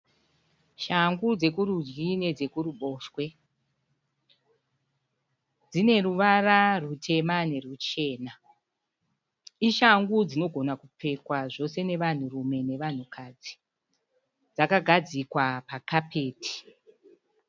Shangu dzekurudyi nedzekuruboshwe. Dzineruvara rutema neruchena. Ishangu dzinogona kupfekwa zvose vanhurume nevanhukadzi. Dzakagadzikwa pakapeti.